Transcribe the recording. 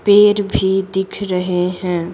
पेड़ भी दिख रहे हैं।